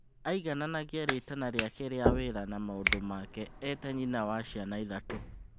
Aigananagia rĩtana rĩake rĩa wĩra na maũndũ make eta-nyina wa ciana ithatũ.